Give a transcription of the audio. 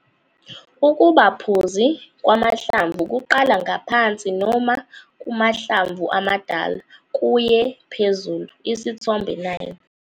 Ukuba phuzi kwamahlamvu kuqala ngaphansi noma kumahlamvu amadala kuye phezulu, Isithombe 9.